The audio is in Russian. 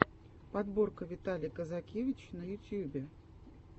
подборка виталий казакевич на ютьюбе